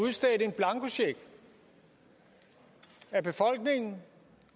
udstedt en blankocheck af befolkningen